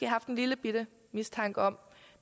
haft en lillebitte mistanke om